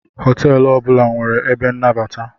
Hotelu ọbula nwere ebe nnabata.